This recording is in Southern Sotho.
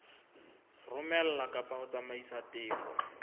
romela kapa ho tsamaisa tefo